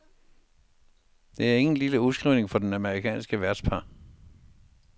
Det er ingen lille udskrivning for det amerikanske værtspar.